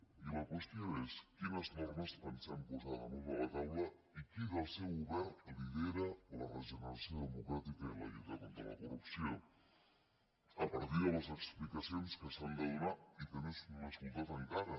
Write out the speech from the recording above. i la qüestió és quines normes pensem posar damunt de la taula i qui del seu govern lidera la regeneració democràtica i la lluita contra la corrupció a partir de les explicacions que s’han de donar i que no hem escoltat encara